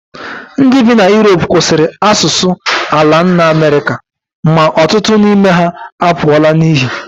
Ndị bi na Europe kwụsịrị asụsụ ala nna Amerịka, ma ọtụtụ n'ime ha apụọla n'iyi